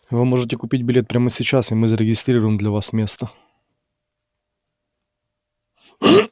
вы можете купить билет прямо сейчас и мы зарегистрируем для вас место